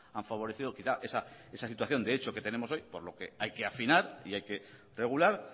han favorecido quizá esa situación que tenemos hoy por lo que hay que afinar y hay que regular